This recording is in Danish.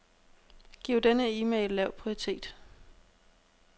Giv denne e-mail lav prioritet.